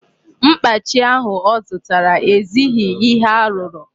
Mkpachi ahụ ọ zụtara ezighị ihe arụrụ.